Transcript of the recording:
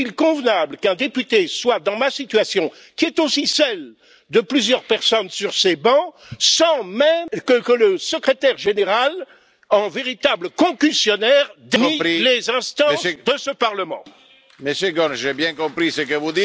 Est il convenable qu'un député se trouve dans ma situation, qui est aussi celle de plusieurs personnes sur ces bancs, sans que le Secrétaire général, en véritable concussionnaire, ni les instances de ce Parlement, ne daignent l'entendre?